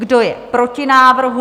Kdo je proti návrhu?